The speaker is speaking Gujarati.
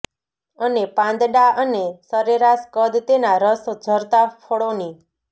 અને પાંદડાં અને સરેરાશ કદ તેનાં રસ ઝરતાં ફળોની